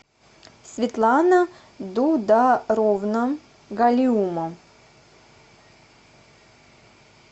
светлана дударовна галиума